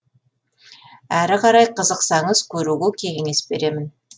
әрі қарай қызықсаңыз көруге кеңес беремін